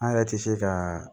An yɛrɛ tɛ se ka